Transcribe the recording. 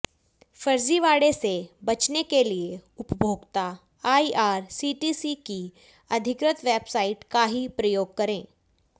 फर्जीवाड़े से बचने के लिए उपभोक्ता आईआरसीटीसी की अधिकृत वेबसाइट का ही प्रयोग करें